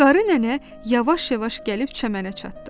Qarı nənə yavaş-yavaş gəlib çəmənə çatdı.